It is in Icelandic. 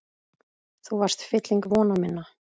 Þú varst fylling vona minna.